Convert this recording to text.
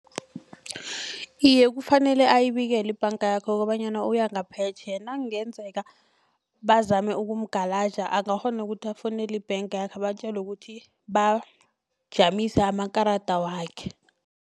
Iye kufanele akuyibikele ibhanga yakhe kobanyana uya ngaphetjheya nakungenzeka bazame ukumgalaja bangakghona ukuthi afowunele ibhangakhe abatjele ukuthi bajamise amakarada wakhe.